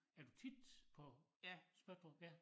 Er du tit på Spøttrup ja